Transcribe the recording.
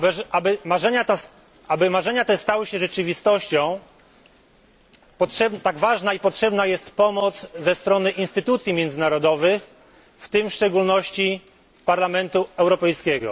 Aby marzenia te stały się rzeczywistością, tak ważna i potrzebna jest pomoc ze strony instytucji międzynarodowych, w tym w szczególności Parlamentu Europejskiego.